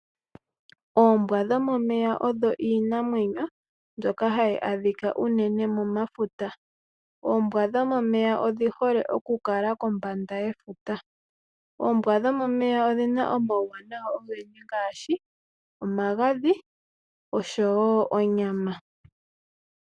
Oombwa dhomomeya oyo Iinamwenyo mbyoka hayi adhika unene momafuta. Oombwa dhomomeya odhi hole unene oku kala kombanda yefuta. Oombwa dhomomeya odhina omauwanawa ogendji ngaashi omagadhi oshowo onyama.